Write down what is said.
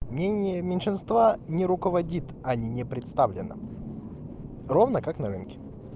мнение меньшинства не руководит они не представлены ровно как на рынке